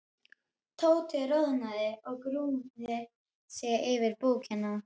Tóti roðnaði og grúfði sig yfir bókina.